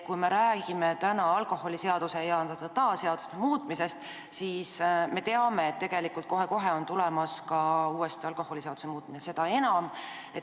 Me räägime täna alkoholiseaduse ja teiste seaduste muutmisest, aga me teame, et kohe-kohe on tulemas siia ka alkoholiseaduse muudatus.